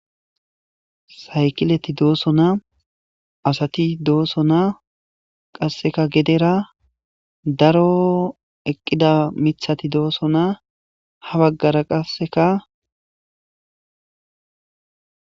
Saykileti dosona asati dosona qaseka gedera daro eqida mitati dosona ha bagara qaseka.